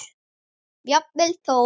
Jafnvel þó